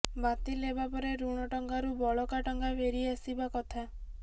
ବାତିଲ ହେବା ପରେ ଋଣ ଟଙ୍କାରୁ ବଳକା ଟଙ୍କା ଫେରି ଆସିବା କଥା